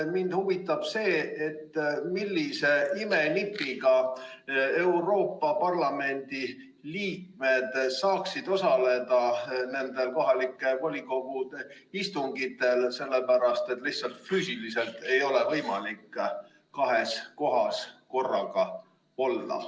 Mind huvitab, millise imenipiga saaksid Euroopa Parlamendi liikmed osaleda kohalike volikogude istungitel, sellepärast et lihtsalt füüsiliselt ei ole võimalik kahes kohas korraga olla.